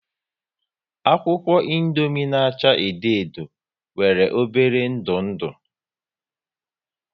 Akwụkwọ Indomie na acha edo edo nwere obere ndu ndụ